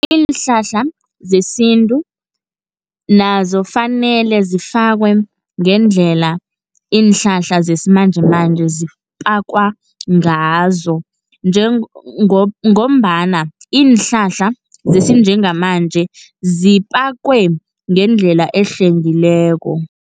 Iinhlahla zesintu, nazo fanele zifakwe ngendlela iinhlahla zesimanjemanje zipakwa ngazo, ngombana iinhlahla zesinjengamanje zipakwe ngendlela ehlwengileko.